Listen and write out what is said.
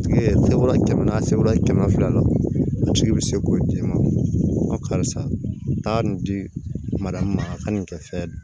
Tigi sebe kɛmɛ naani a sebere kɛmɛ fila la a tigi bi se k'o di e ma karisa taa nin di ma a ka nin kɛ fɛn